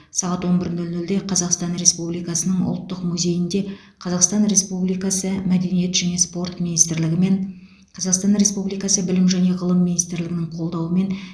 сағат он бір нөл нөлде қазақстан республикасының ұлттық музейінде қазақстан республикасы мәдениет және спорт министрлігі мен қазақстан республикасы білім және ғылым министрлігінің қолдауымен